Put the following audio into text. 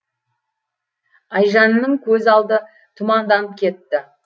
айжанның көз алды тұманданып кетті